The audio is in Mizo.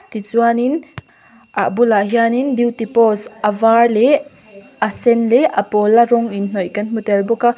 tichuan in ah bulah hian in duty post a var leh a sen leh a pawl a rawng in hnawih kan hmu tel bawk a.